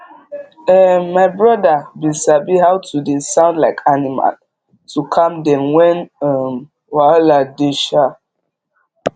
um my brother bin sabi how to dey sound like animal to calm dem when um wahala dey um